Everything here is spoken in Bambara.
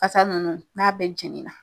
Asa nunnu n'a bɛɛ jeni na